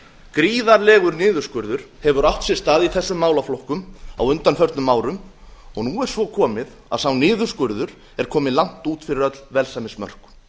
gríðarlegur niðurskurður hefur átt sér stað í þessum málaflokkum á undanförnum árum nú er svo komið að sá niðurskurður er kominn langt út fyrir öll velsæmismörk